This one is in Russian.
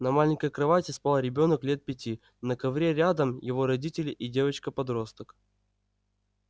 на маленькой кровати спал ребёнок лет пяти на ковре рядом его родители и девочка-подросток